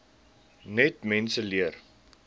net mense leer